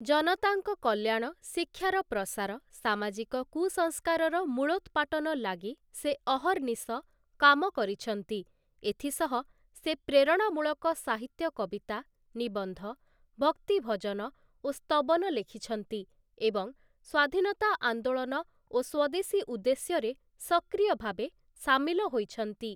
ଜନତାଙ୍କ କଲ୍ୟାଣ, ଶିକ୍ଷାର ପ୍ରସାର, ସାମାଜିକ କୁସଂସ୍କାରର ମୂଳୋତ୍ପାଟନ ଲାଗି ସେ ଅହର୍ନିଶ କାମ କରିଛନ୍ତି ଏଥିସହ ସେ ପ୍ରେରଣାମୂଳକ ସାହିତ୍ୟ କବିତା, ନିବନ୍ଧ, ଭକ୍ତି ଭଜନ ଓ ସ୍ତବନ ଲେଖିଛନ୍ତି ଏବଂ ସ୍ୱାଧୀନତା ଆନ୍ଦୋଳନ ଓ ସ୍ୱଦେଶୀ ଉଦ୍ଦେଶ୍ୟରେ ସକ୍ରିୟ ଭାବେ ସାମିଲ ହୋଇଛନ୍ତି ।